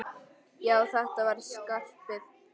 Já, þetta var Skarpi!